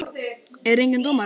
Er enginn dómari?